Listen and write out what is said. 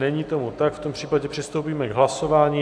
Není tomu tak, v tom případě přistoupíme k hlasování.